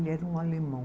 Ele era um alemão.